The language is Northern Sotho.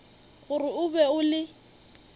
gore o be o le